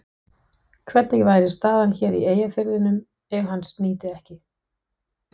Hvernig væri staðan hér í Eyjafirðinum ef hans nyti ekki?